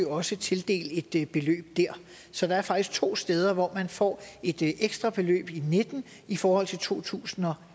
også tildelt et beløb der så der er faktisk to steder hvor man får et ekstra beløb i og nitten i forhold til to tusind og